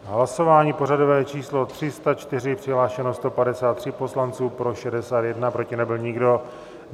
Hlasování pořadové číslo 304, přihlášeno 153 poslanců, pro 61, proti nebyl nikdo.